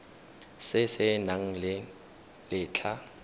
se se nang le letlha